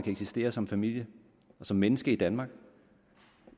eksistere som familie og som menneske i danmark